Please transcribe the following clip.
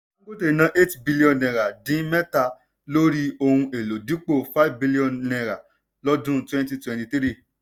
dangote ná eight billion naira dín mẹ́ta lórí ohun èlò dipo five billion naira lọ́dún twenty twenty three.